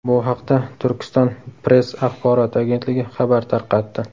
Bu haqda Turkiston-press axborot agentligi xabar tarqatdi .